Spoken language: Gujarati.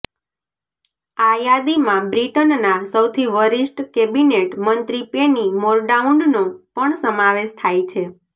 આ યાદીમાં બ્રિટનના સૌથી વરિષ્ઠ કેબિનેટ મંત્રી પેની મોરડાઉંડનો પણ સમાવેશ થાય છે